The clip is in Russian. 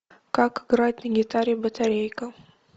как играть на гитаре батарейка